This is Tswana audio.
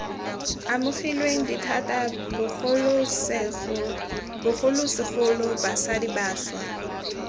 amogilweng dithata bogolosegolo basadi bašwa